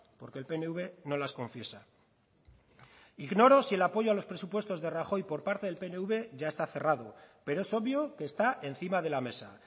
porque el pnv no las confiesa ignoro si el apoyo a los presupuestos de rajoy por parte del pnv ya está cerrado pero es obvio que está encima de la mesa